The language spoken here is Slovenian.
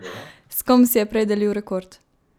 S kom si je prej delil rekord?